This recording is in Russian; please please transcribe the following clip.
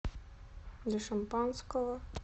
для шампанского